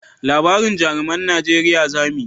Labarin jaruman najeriya za mu yi